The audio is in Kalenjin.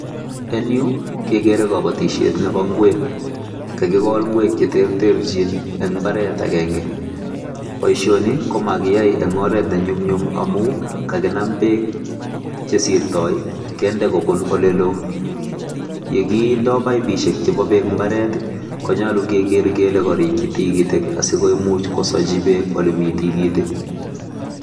En yu kegere kobotishiet nebo ingwek. Kakigool ingwek che terterchin, eng imbaret agenge. Boishoni komomiyoe en oret nenyumnyum amun kakinaam beek, chesirtoi kende kobuun oleloo, yekinde paipisiek chebo beek imbaret konyolu keger kele korikyii tikitik asikomuch kosochi beek ole mi tikitik.